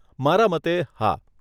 મારા મતે, હા.